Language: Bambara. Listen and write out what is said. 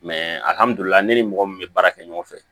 alihamdulila ne ni mɔgɔ min be baara kɛ ɲɔgɔn fɛ